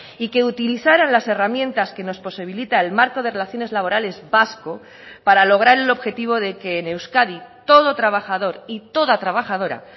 y que utilizaran las herramientas que nos posibilita el marco de relaciones laborales vasco para lograr el objetivo de que en euskadi todo trabajador y toda trabajadora